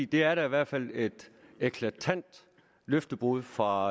det er da i hvert fald et eklatant løftebrud fra